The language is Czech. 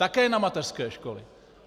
Také na mateřské školy.